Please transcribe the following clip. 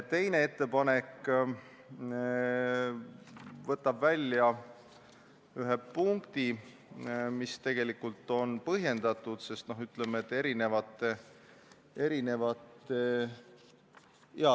Teine ettepanek võtab välja ühe punkti, mis tegelikult on põhjendatud, sest erinevate ...